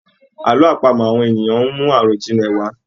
Àlọ́ àpamọ awọn ènìyàn ń mú àròjinlẹ̀ wá.